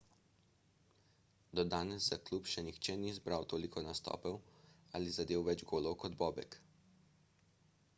do danes za klub še nihče ni zbral toliko nastopov ali zadel več golov kot bobek